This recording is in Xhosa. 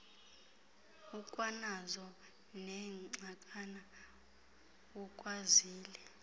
ukwanazo neengxakana ukwazile